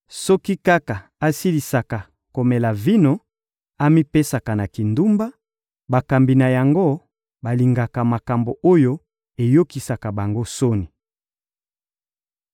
Soki kaka asilisaka komela vino, amipesaka na kindumba; bakambi na yango balingaka makambo oyo eyokisaka bango soni.